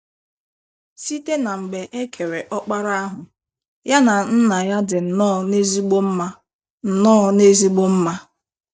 Site na mgbe e kere Ọkpara ahụ, ya na Nna ya dị nnọọ n’ezigbo mma nnọọ n’ezigbo mma.